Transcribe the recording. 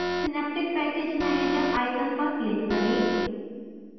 synaptic package manager icon पर click करें